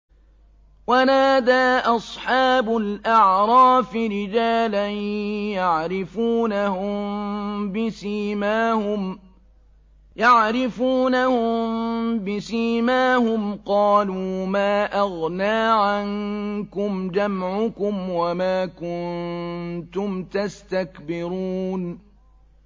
وَنَادَىٰ أَصْحَابُ الْأَعْرَافِ رِجَالًا يَعْرِفُونَهُم بِسِيمَاهُمْ قَالُوا مَا أَغْنَىٰ عَنكُمْ جَمْعُكُمْ وَمَا كُنتُمْ تَسْتَكْبِرُونَ